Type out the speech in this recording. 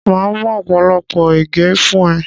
Màá mú ọ̀pọ̀lọpọ̀ ẹ̀gẹ́ fún ẹ.